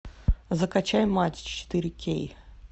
закачай матч четыре кей